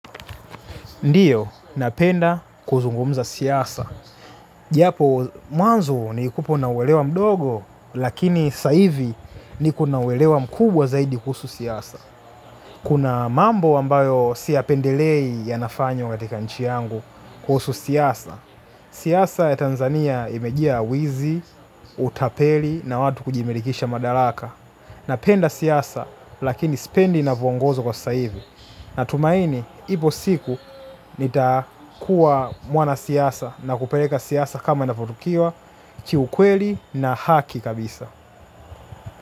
Ndiyo, napenda kuzungumza siasa. Japo, mwanzo nilikupo na uwelewa mdogo, lakini sa hivi niko na uwelewa mkubwa zaidi kuhusu siasa. Kuna mambo ambayo siyapendelei yanafanywa katika nchi yangu kuhusu siasa. Siasa ya Tanzania imejaa wizi, utapeli na watu kujimirikisha madaraka. Napenda siasa, lakini sipendi inavyongozwa kwa sasa hivi. Na tumaini, ipo siku nitakuwa mwana siasa na kupeleka siasa kama inavyotukiwa, kiukweli na haki kabisa.